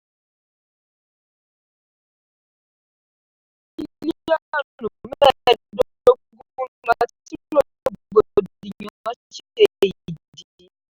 owó ìná lè kéré ju bílíọ̀nù mẹ́ẹ̀dógún lọ tí rògbòdìyàn ṣe ìdí.